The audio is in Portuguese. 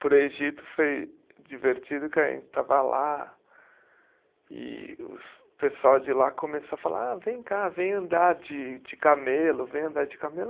Para o Egito foi divertido porque a gente estava lá e os pessoal de lá começou a falar, ah vem cá, vem andar de camelo, vem andar de camelo.